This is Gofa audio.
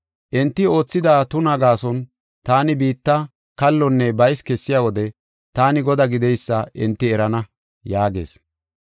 Enti oothida tunaa gaason taani biitta kallonne baysi kessiya wode, taani Godaa gideysa enti erana” yaagees.